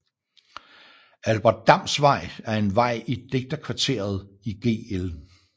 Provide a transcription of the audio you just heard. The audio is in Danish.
Albert Dams Vej er en vej i digterkvarteret i Gl